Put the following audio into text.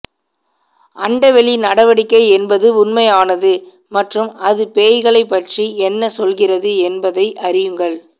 அண்டவெளி நடவடிக்கை என்பது உண்மையானது மற்றும் அது பேய்களைப் பற்றி என்ன சொல்கிறது என்பதை அறியுங்கள்